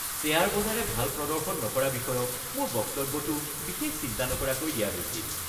Share বজাৰে ভাল প্ৰদৰ্শন নকৰা বিষয়ক মোৰ বক্তব্যটো বিশেষ চিন্তা নকৰাকৈ দিয়া হৈছিল।